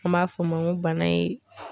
An b'a fɔ o ma ko bana in